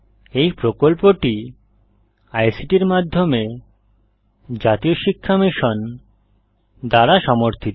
এই প্রকল্পটি আইসিটির মাধ্যমে জাতীয় শিক্ষা মিশন দ্বারা সমর্থিত